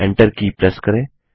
enter key press करें